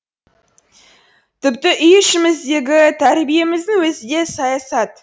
тіпті үй ішіміздегі тәрбиеміздің өзі де саясат